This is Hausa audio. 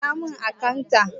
Ƙira mun akantat!